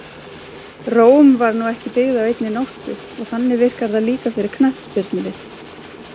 Róm var nú ekki byggð á einni nóttu og þannig virkar það líka fyrir knattspyrnulið.